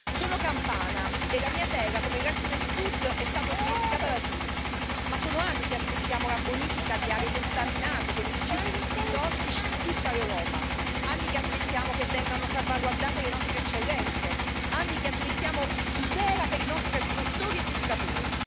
Sono campana e la mia terra, come il resto del Sud, è stata dimenticata da tutti, ma sono anni che aspettiamo la bonifica di aree contaminate con i rifiuti tossici di tutta Europa, anni che aspettiamo che vengano salvaguardate le nostre eccellenze, anni che aspettiamo tutela per i nostri agricoltori e pescatori.